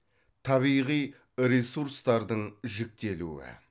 табиғи ресурстардың жіктелуі